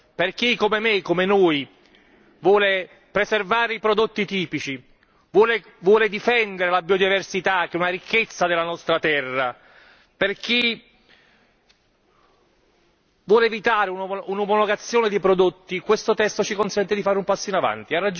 Per chi come me, come noi, vuole preservare i prodotti tipici, vuole difendere la biodiversità che è una ricchezza della nostra terra, per chi vuole evitare un'omologazione dei prodotti, questo testo consente di fare un passo in avanti.